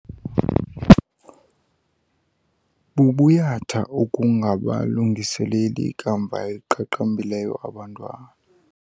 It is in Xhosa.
Bubuyatha ukungabalungiseleli ikamva eliqaqambileyo abantwana.